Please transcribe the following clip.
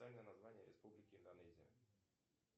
оффициальное название республики индонезия